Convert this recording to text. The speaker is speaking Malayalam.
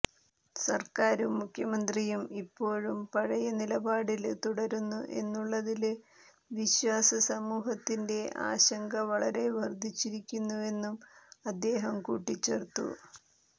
സര്ക്കാരും മുഖ്യമന്ത്രിയും ഇപ്പോഴും പഴയ നിലപാടില് തുടരുന്നു എന്നുള്ളതില് വിശ്വാസ സമൂഹത്തിന്റെ ആശങ്ക വളരെ വര്ധിച്ചിരിക്കുന്നുവെന്നും അദ്ദേഹം കൂട്ടിച്ചേര്ത്തു